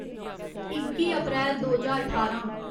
इक्की अप्रैल दो ज्हार ठारां